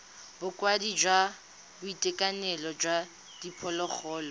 bokaedi jwa boitekanelo jwa diphologolo